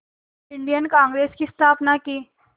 Indian Congress की स्थापना की